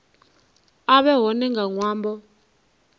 a vhe hone nga ṅwambo